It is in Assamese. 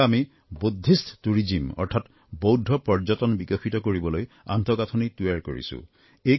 সেয়েহে আমি বৌদ্ধিষ্ট টুৰিজিম অৰ্থাৎ বৌদ্ধৰ পৰ্যটন বিকশিত কৰিবলৈ আন্তঃগাঁথনি তৈয়াৰ কৰিছোঁ